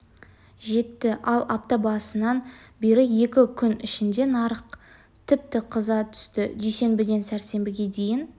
жетті ал апта басынан бері екі күн ішінде нарық тіпті қыза түсті дүйсенбіден сәрсенбіге дейінгі